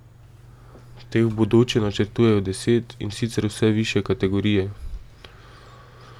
Teh v bodoče načrtujejo deset, in sicer vse višje kategorije.